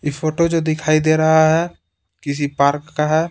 ये फोटो जो दिखाई दे रहा है किसी पार्क का है।